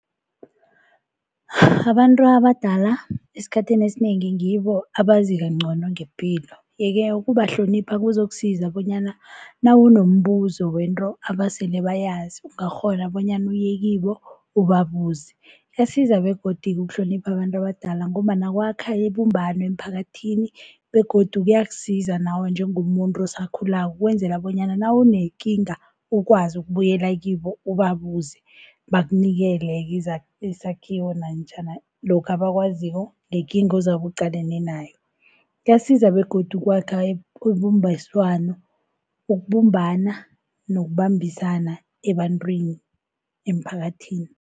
Abantu abadala esikhathini esinengi ngibo abazikancono ngepilo, yeke ukubahlonipha kuzokusiza bonyana nawunombuzo wento abasele bayazi ungakghona bonyana uye kibo ubabuze. Kuyasiza begodu ukuhlonipha abantu abadala ngombana kwakha ibumbano emphakathini, begodu kuyakusiza nawe njengomuntu osakhulako ukwenzela bonyana nawunekinga ukwazi ukubuyela kibo ubabuze bakunikele-ke izakhiwo namtjhana lokhu abakwaziko ngekinga ozabe uqalene nayo. Kuyasiza begodu ukwakha ibambiswano, ukubumbana nokubambisana ebantwini, emphakathini.